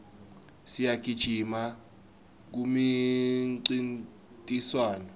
siyagijima kumincintiswano